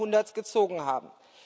20. Jahrhunderts gezogen haben.